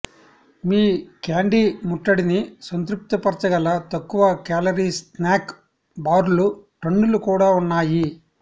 మీ candy ముట్టడిని సంతృప్తిపరచగల తక్కువ కేలరీ స్నాక్ బార్లు టన్నులు కూడా ఉన్నాయి